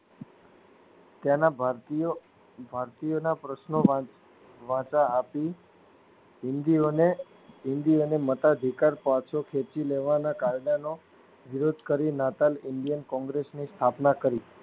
તેના ભારતીઓ ભરતીઓના પ્રશ્નો વાચ વાંચવા હતું હિંદીઓને મતાધિકાર પાછો ખેંચીલેવાના કાયદાનો વિરોધ કરી નાતાલ ઇન્ડિયન કોંગ્રેસન સ્થાપના કરી